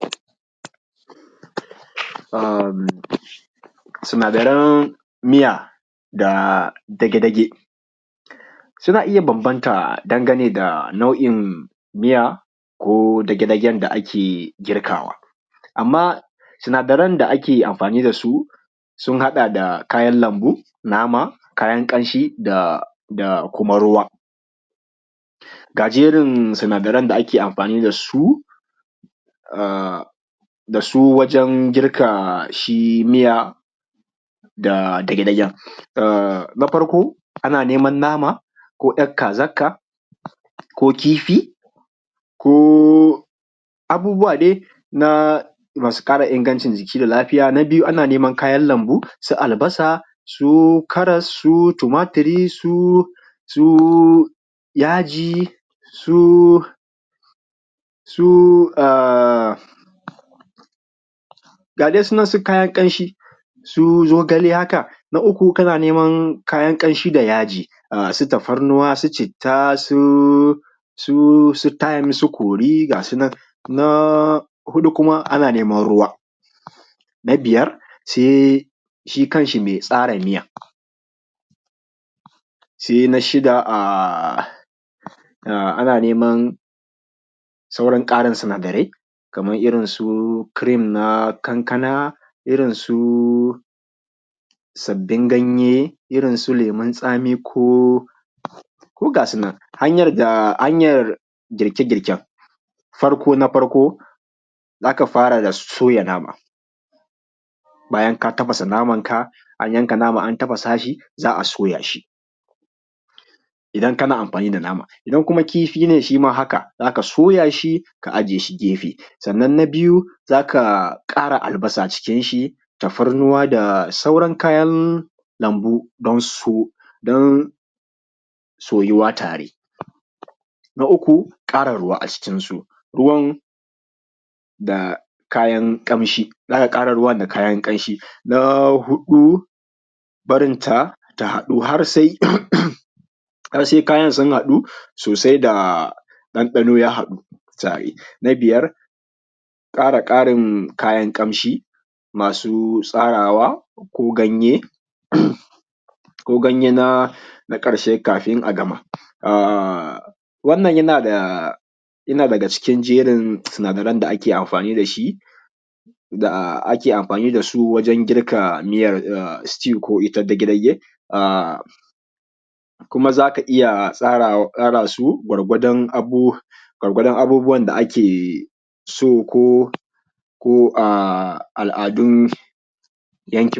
Sinadaran miya da dage-dage suna iya bambanta dangane da nau’in miya ko dage-dagen da ake girkawa, amma sinadaran da ake amfani da su sun haɗa da kayan lambu nama kayan ƙamshi da kuma ruwa. Ga jerin sinadaran da ake amfani da su wajen girka shi miyan dage-dagen na farko ana neman nama ko ‘yar kazarka ko kifi ko abubuwa dai na masu kara ingancin ciki da lafiya na biyu ana neman kayan lambu su albasa su karas su tumatur su yaji su gadai su nan su kayan kamshi su zogale haka na uku kana neman kayan kamshi da yajji suna tafarnuwa su citta su tym su kori ga sunan na hudu kuma ana neman ruwa. Na biyar sai shi kanshi mai tsara miyan sia an shida ana neman sauran karin sinadarai kaman na irin su cream haka su kankana irinsu sabbin ganye irinsu llemin tsami gadaisu nan hanyan girke girken farko na farko zaka fara da soya nama bayan ka tafasa namanka anyanka naman ka tafasa shi za a soya shi idan kana amfani da nama idan kuma kifi ne shi ma haka za ka soya shi ka aje shi gefe. Sannan na biyu zaka kara albasa acikinshi tafarnuwa da sauarn kayan lambu dan su soyuwa tare na uku kara ruwa acikinsu ruwan da kayan kamshi zaka kara ruwan da kayan ƙamshinsu na hudu barinta ta hadu har sai kayan sun hadu sosai da ɗanɗanon. Na biyar kara karin kayan ƙamshi masu tsarawa ko ganye na ƙarshe kafun a gama wannan yana da daga cikin jerin sinadaran da ake amfani dashi da ake amfani dasu wajen girka miyan stew koi ta dage dage kuma za ka iya tsara su gwargwadan abubuwan da ake so ko al’adun yankinku.